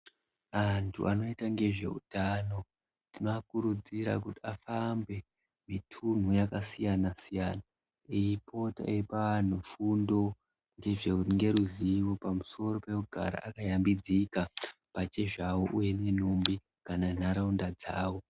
Antu anoite ngezveutano tinoakurudzira kuti afambe mitunhu yaka siyana siyana eipota eipa anhu fundo ngeruzivo pamusoro pekugara akayambidzika pachezvavo uye ne nhumbi kana nharaunda dzavo.